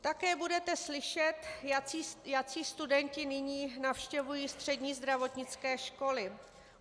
Také budete slyšet, jací studenti nyní navštěvují střední zdravotnické školy.